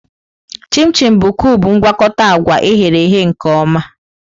Chim-chim bụ kubu mgwakota agwa e ghere eghe nke ọma.